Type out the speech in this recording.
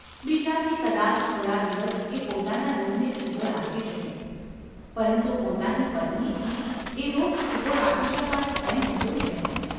બીજાથી કદાચ થોડા દિવસ એ પોતાના રોગને છૂપો રાખી શકે, પરંતુ પોતાની પત્નીથી એ રોગ છૂપો રાખી શકાય એમ હતું જ નહિ.